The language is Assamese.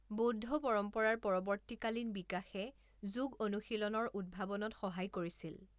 বৌদ্ধ পৰম্পৰাৰ পৰৱৰ্তীকালীন বিকাশে যোগ অনুশীলনৰ উদ্ভাৱনত সহায় কৰিছিল।